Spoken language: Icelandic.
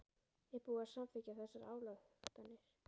Er búið að samþykkja þessar ályktanir?